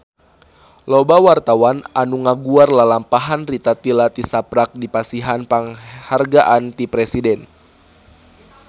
Loba wartawan anu ngaguar lalampahan Rita Tila tisaprak dipasihan panghargaan ti Presiden